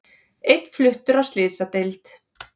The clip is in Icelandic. Einn fluttur á slysadeild